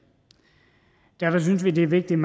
derfor synes vi det er vigtigt